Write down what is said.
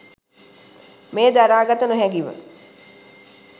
මෙය දරා ගත නොහැකිව